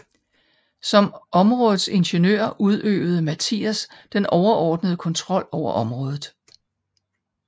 Som områdets ingeniør udøvede Mathias den overordnede kontrol over området